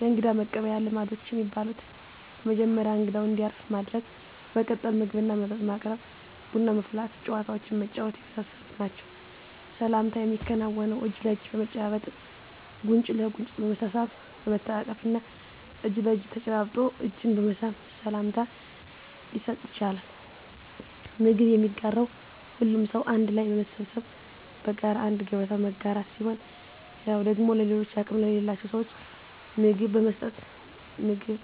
የእንግዳ መቀበያ ልማዶች የሚባሉት በመጀመሪያ እንግዳው እንዲያርፍ ማድረግ በመቀጠል ምግብና መጠጥ ማቅረብ ቡና ማፍላት ጨዋታዎችን መጫወት የመሳሰሉት ናቸዉ። ሰላምታ የሚከናወነው እጅ ለእጅ በመጨባበጥ ጉንጭ ለጉንጭ በመሳሳም በመተቃቀፍ እና እጅ ለእጅ ተጨባብጦ እጅን በመሳም ሰላምታ ሊሰጥ ይቻላል። ምግብ የሚጋራው ሁሉም ሰው አንድ ላይ በመሰብሰብ በጋራ አንድ ገበታ መጋራት ሲሆን ሌላው ደግሞ ለሌሎች አቅም ለሌላቸው ስዎች ምግብ በመስጠት ምግብ